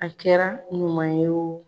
A kɛra ɲuman ye wo